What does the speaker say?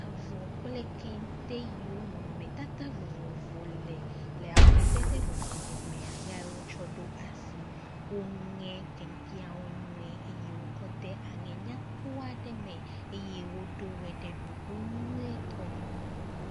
Avɔ kple kente yiwo nɔnɔmetata vovo le le amadede vovovo mea yae wotsɔ ɖo asie woŋe kenteawo nyuie eye wokɔ de aŋe nyakpɔ aɖe me eye woɖo wo ɖe ɖoɖo nyuietɔ nu.